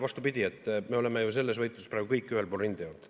Vastupidi, me oleme ju selles võitluses praegu kõik ühel pool rindejoont.